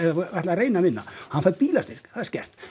ætlar að reyna að vinna hann fær bílastyrk það er skert